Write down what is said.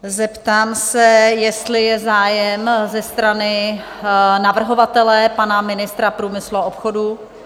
Zeptám se, jestli je zájem ze strany navrhovatele, pana ministra průmyslu a obchodu?